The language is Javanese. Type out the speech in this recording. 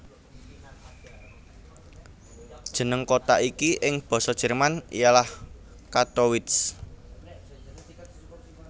Jeneng kota iki ing Basa Jerman ialah Kattowitz